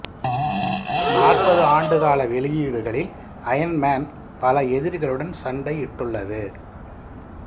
நாற்பது ஆண்டு கால வெளியீடுகளில் அயன் மேன் பல எதிரிகளுடன் சண்டையிட்டுள்ளது